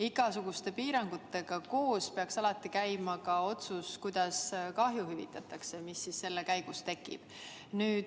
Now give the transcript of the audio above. Igasuguste piirangutega koos peaks käima ka otsus, kuidas hüvitatakse kahju, mis selle käigus tekib.